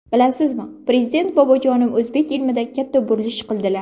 Bilasizmi, Prezident bobojonim o‘zbek ilmida katta burilish qildilar.